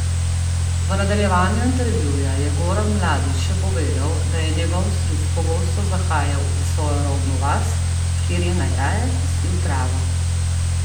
V nadaljevanju intervjuja je Goran Mladić še povedal, da je njegov stric pogosto zahajal v svojo rodno vas, kjer je najraje kosil travo.